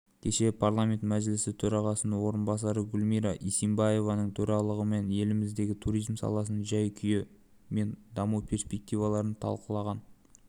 кеше парламент мәжілісі төрағасының орынбасары гүлмира исимбаеваның төрағалығымен еліміздегі туризм саласының жай-күйі мен даму перспективаларын талқылаған